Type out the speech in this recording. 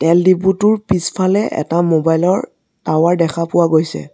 তেল ডিপোটোৰ পিছফালে এটা মোবাইল ৰ টাৱাৰ দেখা পোৱা গৈছে।